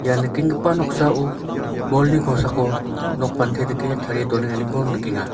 ia nikenggipa noksao bolni kosako nokpante dike tarie donenganiko nikenga.